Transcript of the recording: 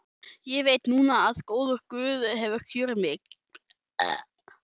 Ég veit núna að góður guð hefur kjörið mig.